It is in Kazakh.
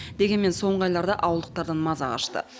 дегенмен соңғы айларда ауылдықтардан маза қашты